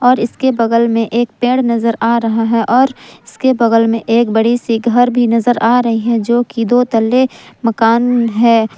और इसके बगल में एक पेड़ नजर आ रहा है और उसके बगल में एक बड़ी सी घर भी नजर आ रही है जो कि दो तले मकान है।